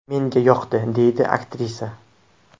Menga yoqdi”, deydi aktrisa.